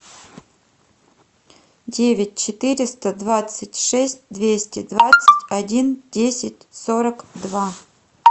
девять четыреста двадцать шесть двести двадцать один десять сорок два